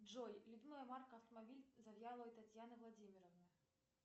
джой любимая марка автомобиля завьяловой татьяны владимировны